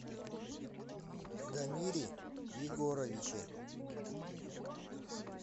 дамире егоровиче